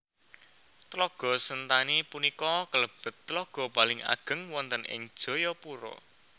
Tlaga Sentani punika kalebet tlaga paling ageng wonten ing Jayapura